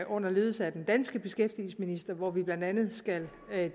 under ledelse af den danske beskæftigelsesminister hvor vi blandt andet skal